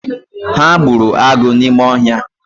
Ha gbụrụ agụ n’ime ọhia